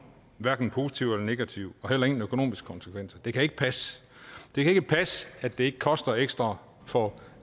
hverken positivt eller negativt og heller ingen økonomiske konsekvenser det kan ikke passe det kan ikke passe at det ikke koster ekstra for